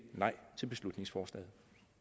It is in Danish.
nej til beslutningsforslaget